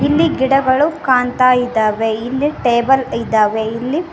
ಇಲ್ಲಿ ಗಿಡಗಳು ಕಾಣ್ತಾ ಇದ್ದಾವೆ ಇಲ್ಲಿ ಟೇಬಲ್ ಇದ್ದಾವೆ ಇಲ್ಲಿ--